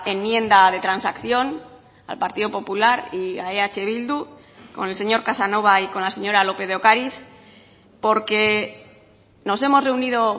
enmienda de transacción al partido popular y a eh bildu con el señor casanova y con la señora lópez de ocariz porque nos hemos reunido